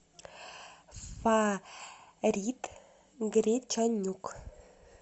фарит гричанюк